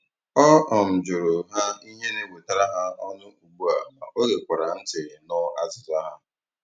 Ọ um jụrụ ha ihe na-ewetara ha ọnụ ugbu a ma ọ gekwara ntị nụ azịza ha.